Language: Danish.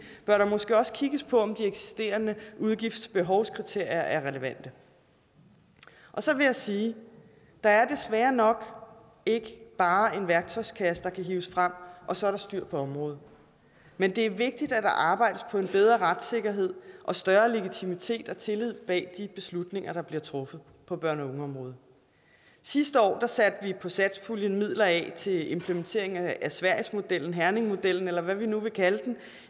bør der måske også kigges på om de eksisterende udgiftsbehovskriterier er relevante så vil jeg sige at der desværre nok ikke bare er en værktøjskasse der kan hives frem og så er der styr på området men det er vigtigt at der arbejdes for en bedre retssikkerhed og større legitimitet og tillid bag de beslutninger der bliver truffet på børne og ungeområdet sidste år satte vi på satspuljen midler af til implementeringen af sverigesmodellen herningmodellen eller hvad vi nu vil kalde den